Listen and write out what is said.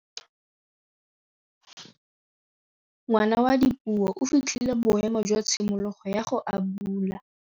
Ngwana wa Dipuo o fitlhile boêmô jwa tshimologô ya go abula.